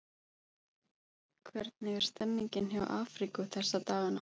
Hvernig er stemmningin hjá Afríku þessa dagana?